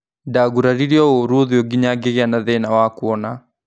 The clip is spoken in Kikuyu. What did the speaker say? Ndaguraririo ũru ũthiũ nginya ngĩ gĩ a na thĩ na wa kuona.